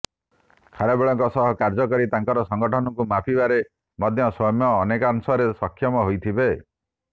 ଖାରବେଳଙ୍କ ସହ କାର୍ଯ୍ୟ କରି ତାଙ୍କର ସଂଗଠନକୁ ମାପିବାରେ ମଧ୍ୟ ସୌମ୍ୟ ଅନେକାଂଶରେ ସକ୍ଷମ ହୋଇଥିବେ